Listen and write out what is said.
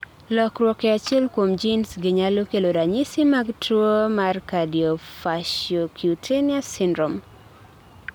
lokruok e achiel kuom genes gi nyalo kelo ranyisi mag tuwo mar cardiofaciocutaneous syndrome.